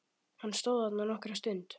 Hann stóð þarna nokkra stund.